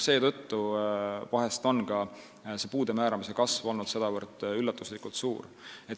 Seetõttu on ka see puude määramise kasv olnud vahest sedavõrd üllatuslikult suur.